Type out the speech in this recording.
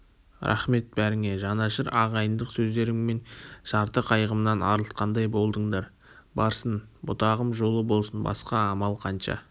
рақмет бәріңе жанашыр ағайындық сөздеріңмен жарты қайғымнан арылтқандай болдыңдар барсын бұтағым жолы болсын басқа амал қанша